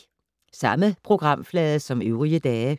Samme programflade som øvrige dage